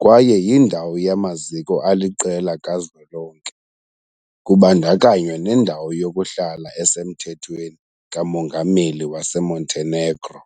kwaye yindawo yamaziko aliqela kazwelonke, kubandakanywa nendawo yokuhlala esemthethweni kamongameli waseMontenegro .